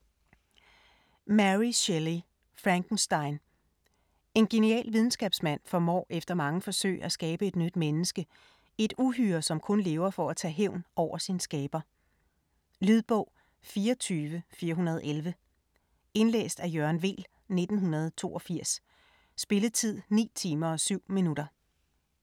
Shelley, Mary: Frankenstein En genial videnskabsmand formår efter mange forsøg at skabe et nyt menneske - et uhyre, som kun lever for at tage hævn over sin skaber. Lydbog 24411 Indlæst af Jørgen Weel, 1982. Spilletid: 9 timer, 7 minutter.